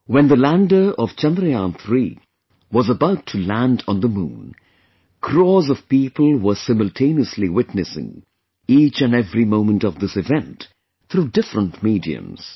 When the lander of Chandrayaan3 was about to land on the Moon, crores of people were simultaneously witnessing each and every moment of this event through different mediums